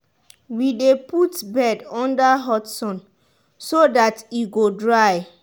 we dey put bed under hot sun so dat e go dry.